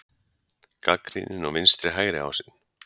Gagnrýni á vinstri-hægri ásinn